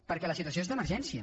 perquè la situació és d’emergència